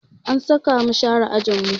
An saka mu share ajinmu